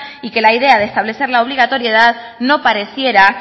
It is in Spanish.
y que la idea de establecer la obligatoriedad no pareciera